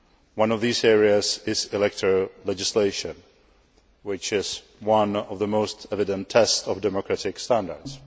One of these areas is electoral legislation, which is one of the most evident tests of democratic standards.